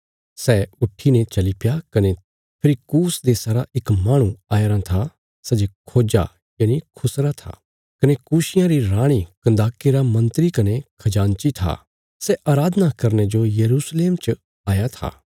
सै उट्ठीने चलीप्या कने फेरी कूश देशा रा इक माहणु आयाराँ था सै जे खोज्जा खुसरा था कने कूशियां री राणी कन्दाके रा मन्त्री कने खजानची था सै अराधना करने जो यरूशलेम च आया था